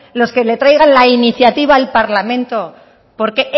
los que le traigan la iniciativa al parlamento porque